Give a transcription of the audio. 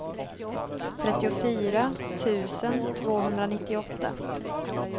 trettiofyra tusen tvåhundranittioåtta